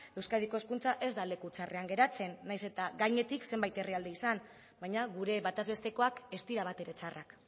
euskadiko hezkuntza ez da leku txarrean geratzen nahiz eta gainetik zenbait herrialde izan baina gure batez bestekoak ez dira batere txarrak